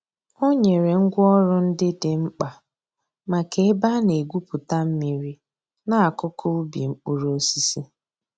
Ọ̀ nyèrè ngwá òrụ̀ ńdí dị̀ m̀kpa mǎká èbè a nà-ègwùpùtà mmìrì n'àkùkò ǔbì mkpụrụ̀ òsísì.